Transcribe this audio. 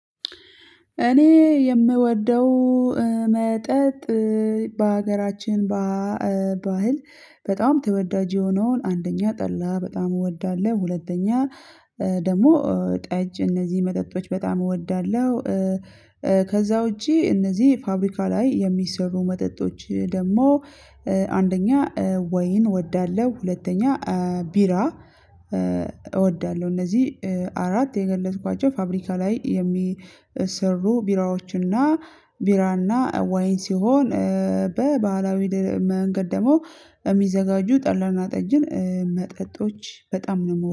እኔ የምወደው መጠጥ በሀገራችን ባህል በጣም ተወዳጅ የሆነውን አንደኛ ጠላ በጣም እወዳለሁ ሁለተኛ ደግሞ ጠጅ እነዚህ መጠጦች በጣም እወዳለሁ። ከዛ ውጪ እነዚህ ፋብሪካ ላይ የሚሰሩ መጠጦች ደግሞ አንደኛ ወይን እወዳለሁ ሁለተኛ ቢራ። እወዳለሁ እነዚህ አራት የገለጽኳቸው ፋብሪካ ላይ የሚሰሩ ቢራዎችና ቢራና ወይን ሲሆን በባህላዊ መንገድ ደግሞ የሚዘጋጁ ጠላና ጠጅን መጠጦች በጣም የምወደው